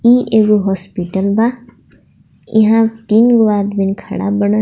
इ एगो हॉस्पिटल बा इहा तीन गो आदमी खड़ा बाणन.